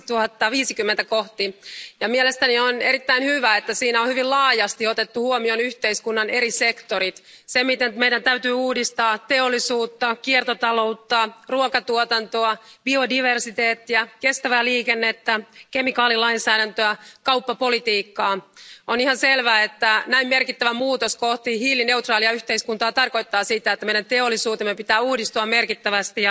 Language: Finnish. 2050. Mielestäni on erittäin hyvä, että siinä on hyvin laajasti otettu huomioon yhteiskunnan eri sektorit ja se, miten meidän täytyy uudistaa teollisuutta, kiertotaloutta, ruokatuotantoa, biodiversiteettiä, kestävää liikennettä, kemikaalilainsäädäntöä ja kauppapolitiikkaa. On ihan selvää, että näin merkittävä muutos kohti hiilineutraalia yhteiskuntaa tarkoittaa sitä, että meidän teollisuutemme pitää uudistua merkittävästi.